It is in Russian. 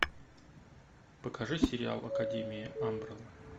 покажи сериал академия амбрелла